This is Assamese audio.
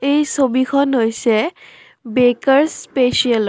এই ছবিখন হৈছে বেকাৰ্ছ স্পেচিয়ালৰ।